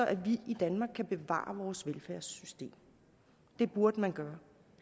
at vi i danmark kan bevare vores velfærdssystem det burde man gøre